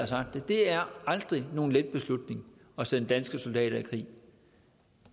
sagt det det er aldrig nogen let beslutning at sende danske soldater i krig